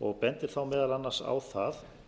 og bendir þá meðal annars á það